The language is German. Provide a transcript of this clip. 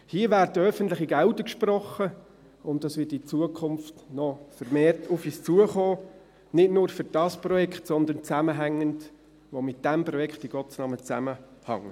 Hier werden öffentliche Gelder gesprochen, und dies wird in Zukunft noch vermehrt auf uns zukommen, nicht nur für dieses Projekt, sondern zusammenhängend mit dem, was mit diesem Projekt in Gottes Namen zusammenhängt.